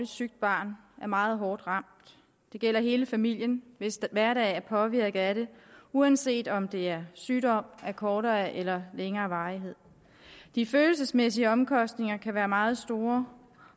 sygt barn er meget hårdt ramt det gælder hele familien hvis hverdag er påvirket af det uanset om det er sygdom af kortere eller længere varighed de følelsesmæssige omkostninger kan være meget store